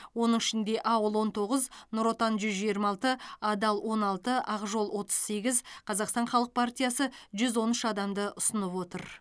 оның ішінде ауыл он тоғыз нұр отан жүз жиырма алты адал он алты ақ жол отыз сегіз қазақстан халық партиясы жүз он үш адамды ұсынып отыр